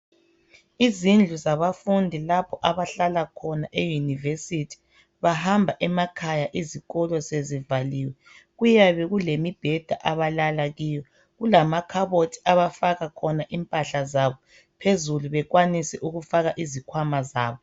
Izindlu zabafundi lapho abahlala khona e-university. Bahamba emakhaya izikolo sezivaliwe. Kuyabe kulemibheda, abalala kiyo. Kulamakhabaothii abafaka khona impahla zabo. Phezulu bekwanise ukufaka izikhwama zabo.